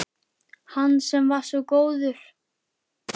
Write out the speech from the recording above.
Hann sem var svo góður